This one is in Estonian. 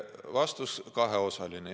Vastus on kaheosaline.